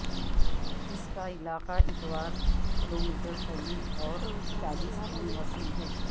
اس کا علاقہ اتوار کلومیٹر طویل اور چالیس تین وسیع ہے